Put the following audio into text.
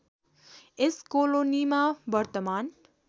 यस कोलोनीमा वर्तमान